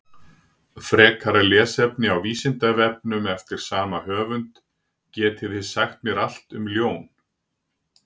Frekara lesefni á Vísindavefnum eftir sama höfund: Getið þið sagt mér allt um ljón?